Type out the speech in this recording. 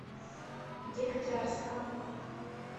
дегтярском